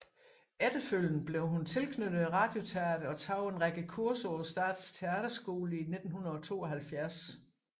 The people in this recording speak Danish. Efterfølgende blev hun tilknyttet Radioteatret og tog en række kurser på Statens Teaterskole i 1972